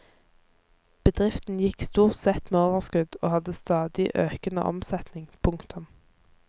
Bedriften gikk stort sett med overskudd og hadde stadig økende omsetning. punktum